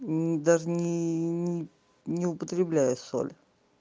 даже ни ни ни употребляя соль